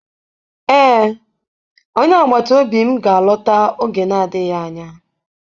Ee, onye agbata obi m ga-alọta oge na-adịghị anya.